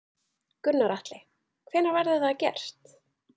Gunnar Atli: Hvenær verður það gert?